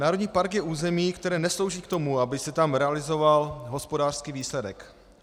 Národní park je území, které neslouží k tomu, aby se tam realizoval hospodářský výsledek.